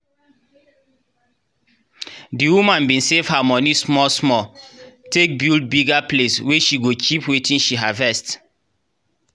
the woman bin save her moni small small take build bigger place wey she go keep wetin she harvest.